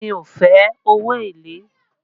Mi ò fe owó èlé